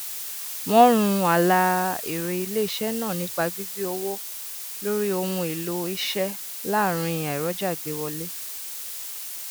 ọpọlọpọ àwọn ìdílé ló n làkàkà láti mójútó bùkátà owó iléìwé aládáni lọdọọdún to n waye ni gbogbo igba